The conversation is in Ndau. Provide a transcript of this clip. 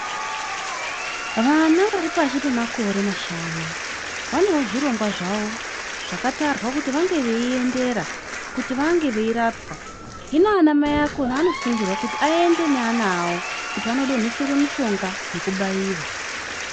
Vana vari pashi pemakore mashanu vanewo zvirongwa zvakona zvinenge zveirwrerwa kuti varapwe Vanhu vakona vanosingurwa kuti vavape vanawo kuti vanodongeserwa mushonga vachisvika vachibairwa.